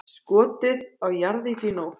Skotið á jarðýtu í nótt